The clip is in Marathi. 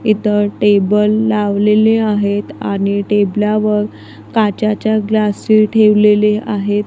इथं टेबल लावलेली आहेत आणि टेबला वर काचेच्या ग्लास ठेवलेले आहेत.